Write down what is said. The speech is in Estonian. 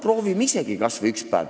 Proovime isegi kas või üks päev.